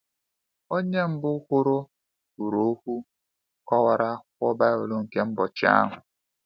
Onye mbụ kwuru kwuru okwu kọwara akwụkwọ Baịbụl nke ụbọchị ahụ.